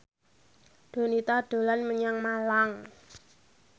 Donita dolan menyang Malang